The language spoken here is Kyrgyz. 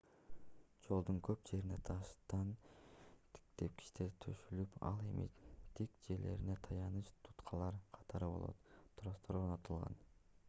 жолдун көп жерине таштан тепкичтер төшөлүп ал эми тик жерлерине таяныч туткалар катары болот тростор орнотулган